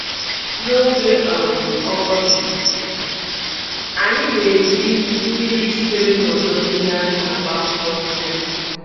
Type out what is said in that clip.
N'oge um ọkọchị, anyị na-eji na-eji mmiri sitere na odo mmiri agba akwụkwọ nri anyị.